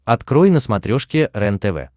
открой на смотрешке рентв